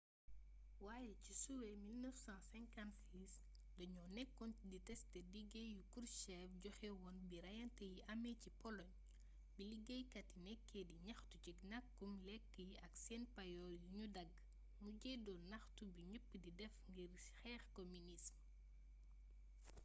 waaye ci suwee 1956 dañoo nekkoon di testé dige yu krushchev joxe woon bi reyante yi amee ca poloñ bi liggéeykat yi nekkee di ñaxtu ci nakkum lekk yi ak seen payoor yuñu dagg mujjee doon ñaxtu bu ñepp di def ngir xeex kominism